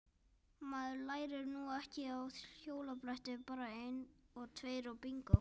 Maður lærir nú ekki á hjólabretti bara einn tveir og bingó!